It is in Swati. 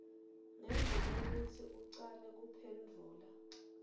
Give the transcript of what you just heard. ngembikwekutsi ucale kuphendvula